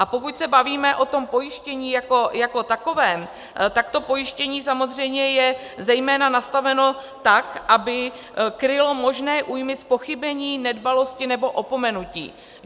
A pokud se bavíme o tom pojištění jako takovém, tak to pojištění samozřejmě je zejména nastaveno tak, aby krylo možné újmy z pochybení, nedbalosti nebo opomenutí.